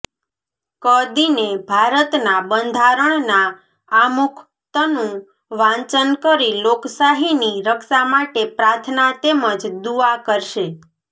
ાક દિને ભારતના બંધારણના આમુખતનું વાંચન કરી લોકશાહીની રક્ષા માટે પ્રાર્થના તેમજ દુઆ કરશે